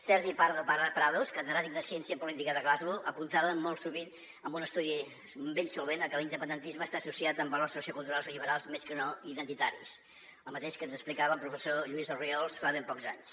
sergi pardo·prados catedràtic de ciència política de glasgow apuntava molt sovint en un estudi ben solvent que l’independentisme està associat amb valors so·cioculturals liberals més que no identitaris el mateix que ens explicava el professor lluís orriols fa ben pocs anys